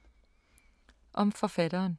Om forfatteren